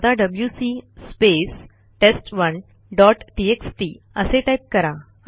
आता WC space टेस्ट1 dot TXT असे टाईप करा